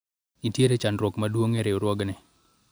nitiere chandruok maduong' e riwruogni